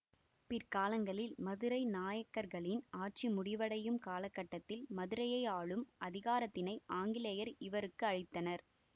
பிற்காலங்களில் மதுரை நாயக்கர்களின் ஆட்சி முடிவடையும் காலகட்டத்தில் மதுரையை ஆளும் அதிகாரத்தினை ஆங்கிலேயர் இவருக்கு அளித்தனர்